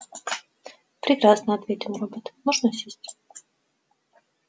прекрасно ответил робот можно сесть